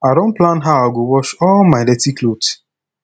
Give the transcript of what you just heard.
i don plan how i go wash all my dirty cloth